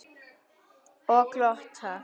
Og glotta.